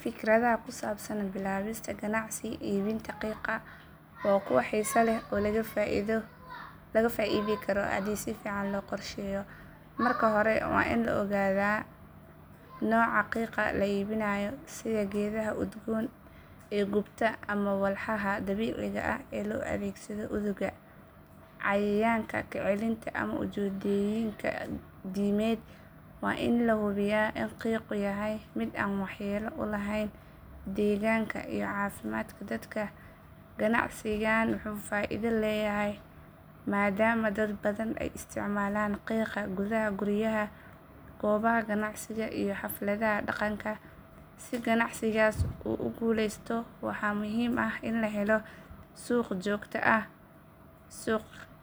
Fikradaha ku saabsan bilaabista ganacsi iibinta qiiqa waa kuwo xiiso leh oo laga faa’iidi karo haddii si fiican loo qorsheeyo. Marka hore waa in la ogaadaa nooca qiiqa la iibinayo sida geedaha udgoon ee gubta ama walxaha dabiiciga ah ee loo adeegsado udugga, cayayaanka ka celinta ama ujeedooyin diimeed. Waa in la hubiyaa in qiiqu yahay mid aan waxyeello u lahayn deegaanka iyo caafimaadka dadka. Ganacsigan wuxuu faa’iido leeyahay maadaama dad badan ay isticmaalaan qiiqa gudaha guryaha, goobaha ganacsiga iyo xafladaha dhaqanka. Si ganacsigaas u guulaysto waxaa muhiim ah in la helo suuq joogto ah,